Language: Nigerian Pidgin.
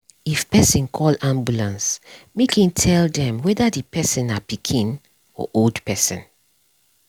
if person call ambulance make him tell dem whether the person na pikin or old person